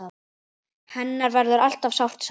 Hennar verður alltaf sárt saknað!